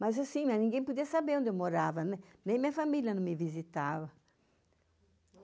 Mas assim, ninguém podia saber onde eu morava, nem minha família me visitava.